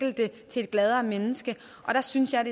til et gladere menneske og der synes jeg